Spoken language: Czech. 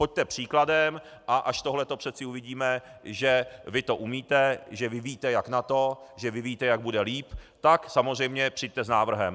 Pojďte příkladem, a až tohle přeci uvidíme, že vy to umíte, že vy víte, jak na to, že vy víte, jak bude líp, tak samozřejmě přijďte s návrhem.